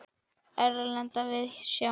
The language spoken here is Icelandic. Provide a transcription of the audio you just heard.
Erlenda víðsjá.